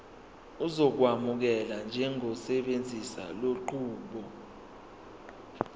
uzokwamukelwa njengosebenzisa lenqubo